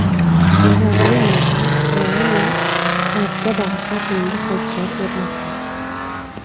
Sloveniyada Melaniya Trampga bag‘ishlab yangi haykal o‘rnatildi.